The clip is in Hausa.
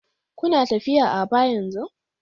Kuna tafiya Aba yanzu?